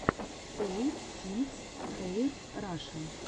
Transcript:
олл сингс хэир раша